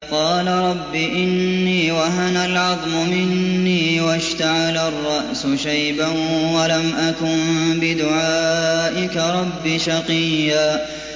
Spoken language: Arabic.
قَالَ رَبِّ إِنِّي وَهَنَ الْعَظْمُ مِنِّي وَاشْتَعَلَ الرَّأْسُ شَيْبًا وَلَمْ أَكُن بِدُعَائِكَ رَبِّ شَقِيًّا